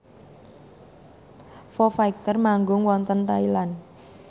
Foo Fighter manggung wonten Thailand